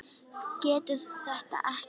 Getur þetta ekki.